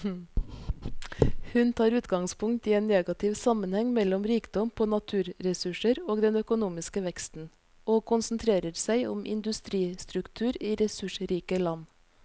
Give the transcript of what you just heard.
Hun tar utgangspunkt i en negativ sammenheng mellom rikdom på naturressurser og den økonomiske veksten, og konsentrerer seg om industristruktur i ressursrike land.